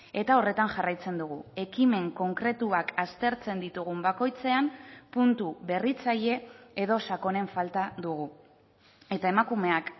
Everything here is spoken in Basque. eta horretan jarraitzen dugu ekimen konkretuak aztertzen ditugun bakoitzean puntu berritzaile edo sakonen falta dugu eta emakumeak